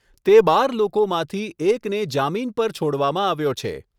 તે બાર લોકોમાંથી એકને જામીન પર છોડવામાં આવ્યો છે.